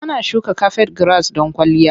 Ana shuka kafet giras don kwalliya.